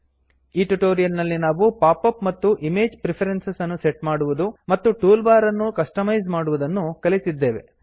ಈ ಟ್ಯುಟೊರಿಯಲ್ ನಲ್ಲಿ ನಾವು ಪಾಪ್ ಅಪ್ ಮತ್ತು ಇಮೇಜ್ ಪ್ರಿಫರೆನ್ಸ್ ಅನ್ನು ಸೆಟ್ ಮಾಡುವುದು ಮತ್ತು ಟೂಲ್ ಬಾರ್ ಅನ್ನು ಕಸ್ಟಮೈಸ್ ಮಾಡುವುದನ್ನು ಕಲಿತಿದ್ದೇವೆ